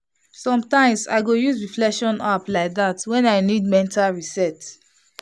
sometimes i go use reflection app like that when i need mental reset.